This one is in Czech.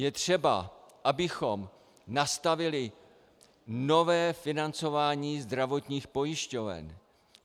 Je třeba, abychom nastavili nové financování zdravotních pojišťoven.